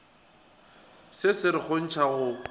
se se re kgontša go